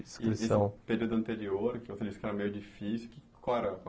E esse período anterior, que você disse que era meio difícil, qual era?